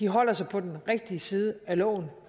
holder sig på den rigtige side af loven